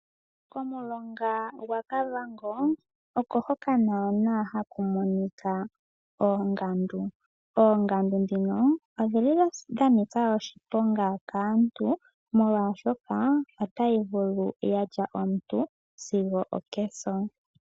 Komulonga gwa Kavango oko nana hoka haku monika oongandu. Oongandu dhino odhi li dha nika oshiponga kaantu, molwashoka otayi vulu ya lya omuntu sigo okeso.